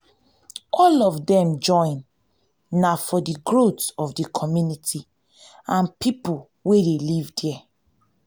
all of dem join na for di growth of di community and pipo wey de live there